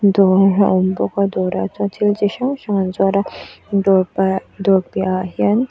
dawr a awm bawk a dawrah hian thil chi hrang hrang an zuar a dawr pah dawr piahah hian --